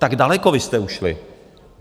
Tak daleko vy jste ušli!